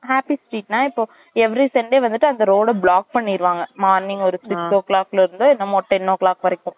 happy street ன்னா இப்ப every sunday வந்துட்டு அந்த road block பண்ணிருவாங்க morning ஒரு six o clock ல இருந்து என்னமோ ten o clock வரைக்கும்